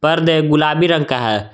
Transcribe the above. पर्दे गुलाबी रंग का है।